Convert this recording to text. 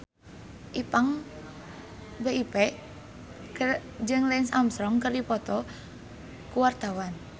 Ipank BIP jeung Lance Armstrong keur dipoto ku wartawan